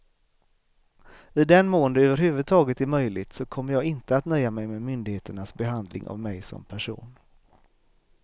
I den mån det över huvud taget är möjligt så kommer jag inte att nöja mig med myndigheternas behandling av mig som person.